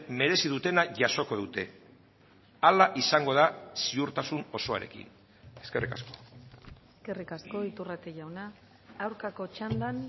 merezi dutena jasoko dute hala izango da ziurtasun osoarekin eskerrik asko eskerrik asko iturrate jauna aurkako txandan